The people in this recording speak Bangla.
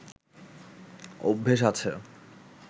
অভ্যেস আছে